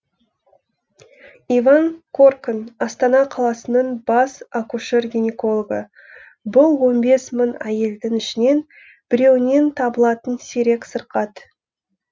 иван коркан астана қаласының бас акушер гинекологы бұл он бес мың әйелдің ішінен біреуінен табылатын сирек сырқат